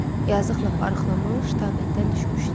Yazıq lap arıqlamış, taqətdən düşmüşdü.